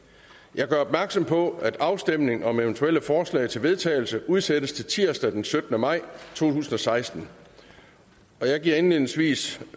jeg gør opmærksom på at afstemning om eventuelle forslag til vedtagelse udsættes til tirsdag den syttende maj to tusind og seksten jeg giver indledningsvis